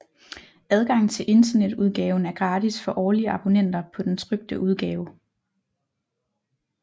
Adgang til internetudgaven er gratis for årlige abonnenter på den trykte udgave